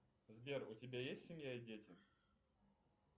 сбер у тебя есть семья и дети